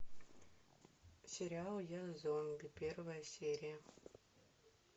сериал я зомби первая серия